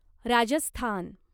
Rajasthan